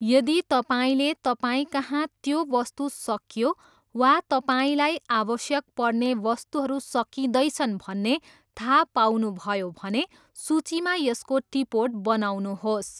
यदि तपाईँले तपाईँकहाँ त्यो वस्तु सकियो वा तपाईँलाई आवश्यक पर्ने वस्तुहरू सकिँदैछन् भन्ने थाहा पाउनुभयो भने सूचीमा यसको टिपोट बनाउनुहोस्।